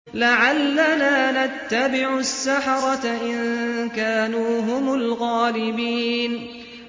لَعَلَّنَا نَتَّبِعُ السَّحَرَةَ إِن كَانُوا هُمُ الْغَالِبِينَ